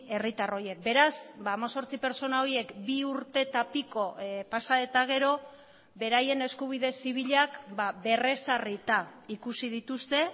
herritar horiek beraz hemezortzi pertsona horiek bi urte eta piko pasa eta gero beraien eskubide zibilak berrezarrita ikusi dituzte